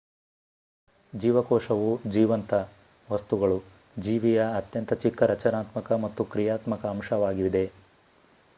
ಜೀವಕೋಶವು ಜೀವಂತ ವಸ್ತುಗಳು ಜೀವಿಯ ಅತ್ಯಂತ ಚಿಕ್ಕ ರಚನಾತ್ಮಕ ಮತ್ತು ಕ್ರಿಯಾತ್ಮಕ ಅಂಶವಾಗಿದೆ